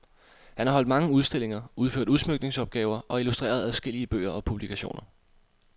Han har holdt mange udstillinger, udført udsmykningsopgaver og illustreret adskillige bøger og publikationer.